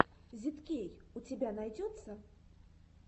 зидкей у тебя найдется